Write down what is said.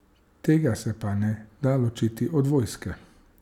Tega se pa ne da ločiti od vojske.